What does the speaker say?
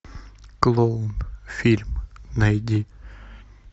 клоун фильм найди